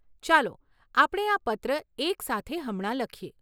ચાલો આપણે આ પત્ર એકસાથે હમણાં લખીએ.